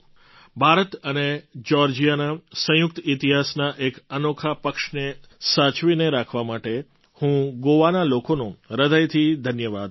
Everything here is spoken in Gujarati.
ભારત અને જ્યૉર્જિયાના સંયુક્ત ઇતિહાસના એક અનોખા પક્ષને સાચવીને રાખવા માટે માટે હું ગોવાના લોકોનો હૃદયથી ધન્યવાદ કરીશ